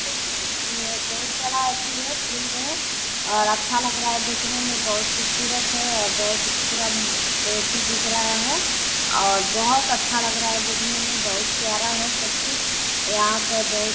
ये बहुत बड़ा एथी है फील्ड है और अच्छा लग रहा है देखने में बहुत खुबसुरत है और बहुत पूरा एथी दिख रहा है और बहुत अच्छा लग रहा है देखने में बहुत प्यारा है सब कुछ यहाँ पे बहुत।